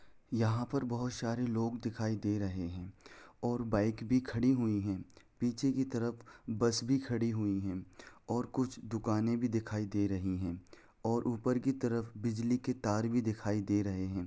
यहाँ पर बहुत सारे लोग दिखाई दे रहे है और बाइक भी खड़ी हुई है पीछे की तरफ बस भी खड़ी हुई है और कुछ दुकाने भी दिखाई दे रही है और ऊपर की तरफ बिजली के तार भी दिखाई दे रहे हैं।